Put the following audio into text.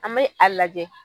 An be a lajɛ